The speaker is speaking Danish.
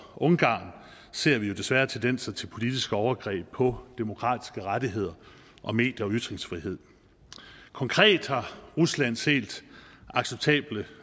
ungarn ser vi jo desværre tendenser til politiske overgreb på demokratiske rettigheder og medier og ytringsfrihed konkret har ruslands helt uacceptable